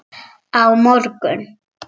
Á morgun.